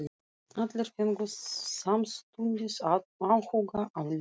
Allir fengu samstundis áhuga á Lillu.